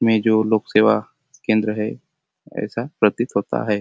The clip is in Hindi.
मैं जो लोग सेवा केंद्र है ऐसा प्रतीत होता है।